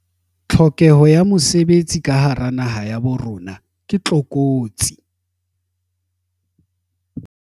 Tlhokeho ya mesebetsi ka hara naha ya bo rona ke tlokotsi.